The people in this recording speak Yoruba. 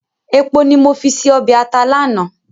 Èpo ní mo fi se ọbẹ̀ ata lánàá